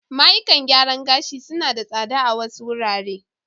Mayukan gyaran ga shi su na da tsada a wasu wurare.